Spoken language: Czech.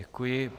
Děkuji.